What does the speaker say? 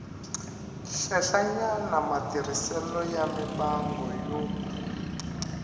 henhlanyana matirhiselo ya mimbangu yo